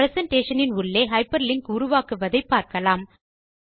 presentation இன் உள்ளே hyperlink உருவாக்குவதை பார்க்கலாம்